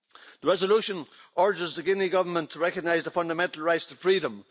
The resolution urges the Guinea Government to recognise the fundamental rights to freedom.